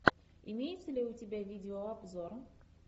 имеется ли у тебя видеообзор